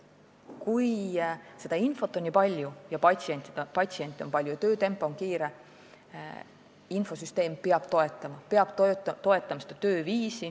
Kui seda infot on nii palju, patsiente on palju ja töötempo on kiire, siis peab infosüsteem seda tööviisi toetama.